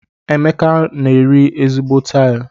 Emeka n'eri ezigbo tilu.